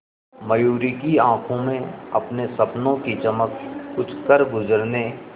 मयूरी की आंखों में अपने सपनों की चमक कुछ करगुजरने